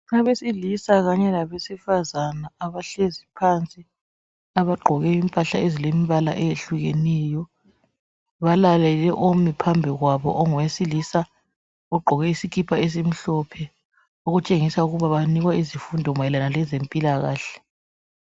Abesilisa kanye labesifazana abahlezi phansi abagqoke imphahla ezilembala eyehlukeneyo .Balalele omi phambi kwabo ongowesilisa ogqoke isikipa esimhlophe .Okutshengisa ukuba banikwa izifundo mayelana lezempilakahle.